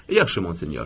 Yaxşı monsenyor.